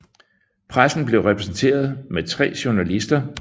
Pressen blev repræsenteret med tre journalister